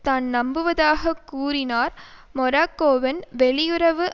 தான் நம்புவதாக கூறினார் மொரக்கோவின் வெளியுறவு